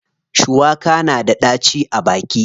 Shuwaka na da ɗaci a baki.